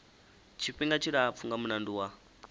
tshifhinga tshilapfu nga mulandu wa